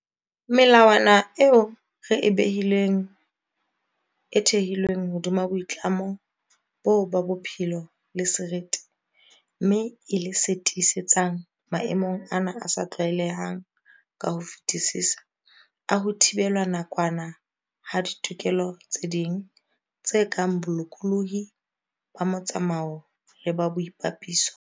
Melawana eo re e behileng e thehilwe hodima boitlamo boo ba bophelo le seriti, mme e le se tiisetsang - maemong ana a sa tlwaelehang ka ho fetisisa - a ho thibelwa nakwana ha ditokelo tse ding, tse kang bolokolohi ba motsamao le ba boipapiso.